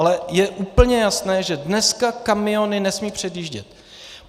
Ale je úplně jasné, že dneska kamiony nesmí předjíždět.